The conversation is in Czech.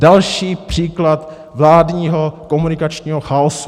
Další příklad vládního komunikačního chaosu.